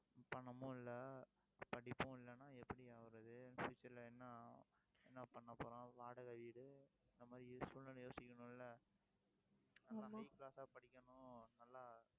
பணமும் இல்லை படிப்பும் இல்லைன்னா எப்படி ஆவறது future ல என்ன என்ன பண்ணப்போறோம் வாடகை வீடு, இந்த மாதிரி சூழ்நிலை யோசிக்கணும்ல படிக்கணும் இல்ல நல்லா